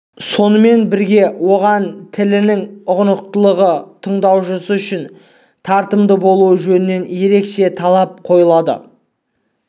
сонымен бірге оған тілінің ұғынықтылығы тыңдаушысы үшін тартымды болуы жөнінен ерекше талап қойылады